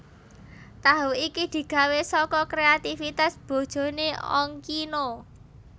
Tahu iki digawé saka kréativitas bojoné Ongkino